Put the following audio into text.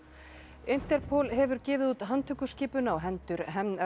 Interpol hefur gefið út handtökuskipun á hendur